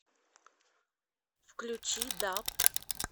включи даб